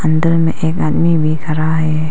अंदर में एक आदमी भी खड़ा है।